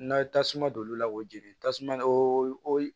N'a ye tasuma don olu la k'o jeni tasuma o o